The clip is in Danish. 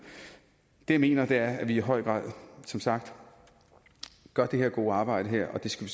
det jeg mener er at vi i høj grad som sagt gør det her gode arbejde og det skal